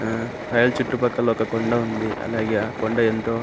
ఆహ్ రాయిలు చుట్టూ పక్కల ఒక కొండా ఉంది అలాగే ఆ కొండ ఎంతో --